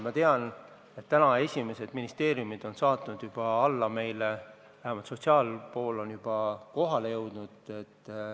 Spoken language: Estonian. Ma tean, et esimesed ministeeriumid on juba meile meetmed saatnud, vähemalt nn sotsiaalpool on juba kohale jõudnud.